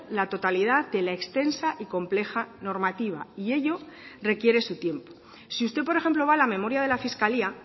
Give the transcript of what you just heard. la totalidad de la extensa y compleja normativa y ello requiere su tiempo si usted por ejemplo va a la memoria de la fiscalía